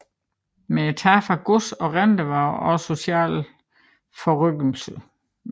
Men tabet af gods og renter var også socialt forrykkende